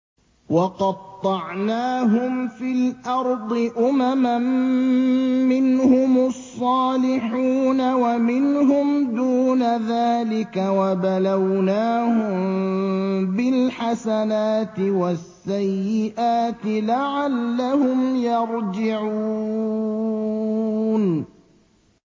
وَقَطَّعْنَاهُمْ فِي الْأَرْضِ أُمَمًا ۖ مِّنْهُمُ الصَّالِحُونَ وَمِنْهُمْ دُونَ ذَٰلِكَ ۖ وَبَلَوْنَاهُم بِالْحَسَنَاتِ وَالسَّيِّئَاتِ لَعَلَّهُمْ يَرْجِعُونَ